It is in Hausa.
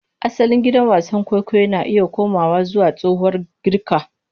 Asalin gidan wasan kwaikwayo na iya komawa zuwa tsohuwar Girka.